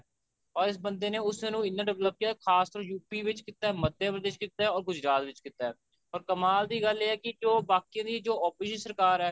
or ਇਸ ਬੰਦੇ ਨੇ ਉਸਨੂੰ ਇੰਨਾ develop ਕਿਆ ਖਾਸ ਤੋਂ UP ਵਿੱਚ ਕੀਤਾ ਮੱਧ ਪ੍ਰਦੇਸ਼ ਕੀਤਾ or ਗੁਜਰਾਤ ਵਿੱਚ ਕੀਤਾ or ਕਮਾਲ ਦੀ ਗੱਲ ਇਹ ਹੈ ਕਿ ਜੋ ਬਾਕੀਆ ਦੀ ਜੋ opposition ਸਰਕਾਰ ਐ